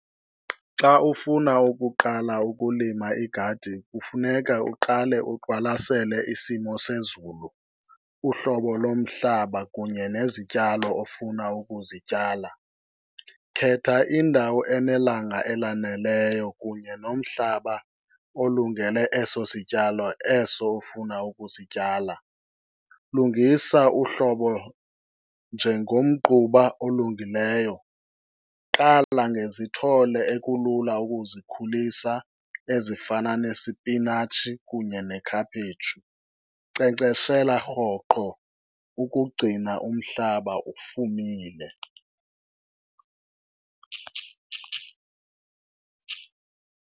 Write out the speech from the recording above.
Xa ufuna ukuqala ukulima igadi kufuneka uqale uqwalasele isimo sezulu, uhlobo lomhlaba kunye nezityalo ofuna ukuzityala. Khetha indawo enelanga elanelayo kunye nomhlaba olungele eso sityalo eso ufuna ukusityala. Lungisa uhlobo njengomgquba olungileyo. Qala ngezithole ekulula ukuzikhulisa ezifana nesipinatshi kunye nekhaphetshu. Nkcenkceshela rhoqo ukugcina umhlaba ufumile.